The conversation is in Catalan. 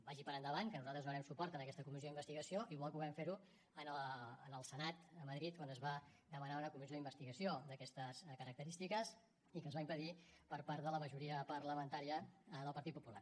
vagi per endavant que nosaltres donarem suport a aquesta comissió d’investigació igual que ho vam fer en el senat a madrid quan es va demanar una comissió d’investigació d’aquestes característiques i que es va impedir per part de la majoria parlamentària del partit popular